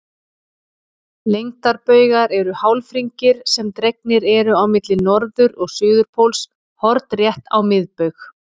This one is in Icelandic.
Lengdarbaugar eru hálfhringir sem dregnir eru á milli norður- og suðurpóls hornrétt á miðbaug.